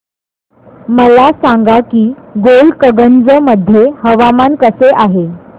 मला सांगा की गोलकगंज मध्ये हवामान कसे आहे